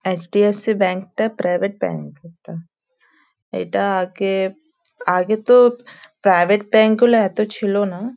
HDFC ব্যাঙ্কটা টা private bank একটা এটা আগে আগে তো প্রাইভেট ব্যাঙ্ক গুলো এত ছিল না।